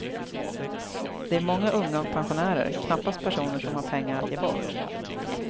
Det är många unga och pensionärer, knappast personer som har pengar att ge bort.